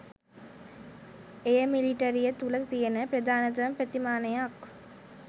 එය මිලිටරිය තුළ ති‍යන ප්‍රධානම ප්‍රතිමානයක්.